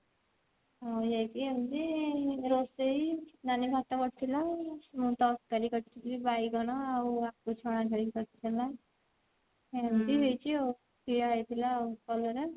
ଆଉ ଯାଇକି ଏମତି ରୋଷେଇ ନାନି ଭାତ କରିଥିଲା ମୁ ତରକାରୀ କରିଥିଲି ବାଇଗଣ ଆଉ ଆଳୁ ଛଣା ଖାଲି କରିଥିଲା ଏମତି ହେଇଛି ଆଉ ଖିଆ ହେଇଥିଲା ଆଉ କଲରା